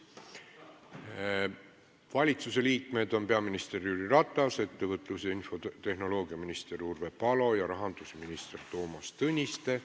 Valitsusliikmetest on kohal peaminister Jüri Ratas, ettevõtlus- ja infotehnoloogiaminister Urve Palo ning rahandusminister Toomas Tõniste.